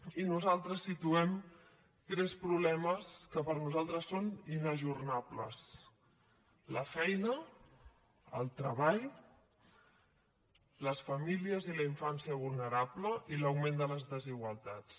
i nosaltres situem tres problemes que per nosaltres són inajornables la feina el treball les famílies i la infància vulnerable i l’augment de les desigualtats